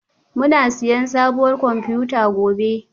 Muna siyan sabuwar kwamfuta gobe?